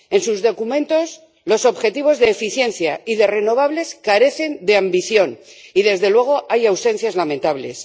En sus documentos, los objetivos de eficiencia y de renovables carecen de ambición y, desde luego, hay ausencias lamentables.